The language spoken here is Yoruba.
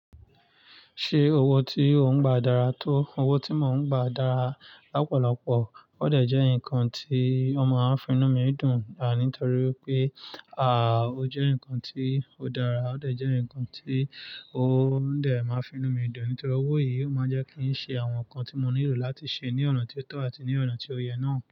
Ṣé owó tí ò ń gba dára tó? Owó tí mò ń gba dára lápọ̀lọpọ̀. Ó dẹ̀ jẹ́ nǹkan tí ó máa ń finú mi dùn, ànítori pé, à, ó jẹ́ nǹkan tí ó dára. Ó dẹ̀ jẹ́ nǹkan tí ó dẹ̀ máa ń finú mi dùn. Nítorí owó yìí máa ń jẹ́ kí ń ṣe àwọn nǹkan tí mò nílò láti ṣe ní ọ̀nà tí ó tọ̀ àti ní ọ̀nà tí ó yẹ náà.